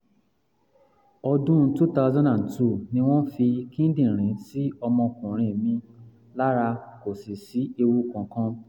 odun two thousand and two ni won fi kidirin si omo okunrin mi lara, ko si si ewu kankan